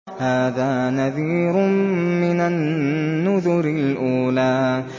هَٰذَا نَذِيرٌ مِّنَ النُّذُرِ الْأُولَىٰ